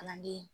Kalanden